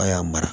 A' y'a mara